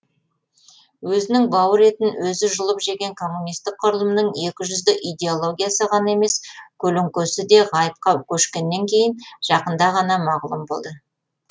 өзінің бауыр етін өзі жұлып жеген коммунистік құрылымның екіжүзді идеологиясы ғана емес көлеңкесі де ғайыпқа көшкеннен кейін жақында ғана мағлұм болды